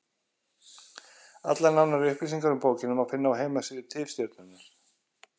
Allar nánari upplýsingar um bókina má finna á heimasíðu Tifstjörnunnar.